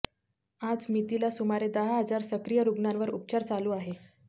आजमितीला सुमारे दहा हजार सक्रिय रुग्णांवर उपचार चालू आहेत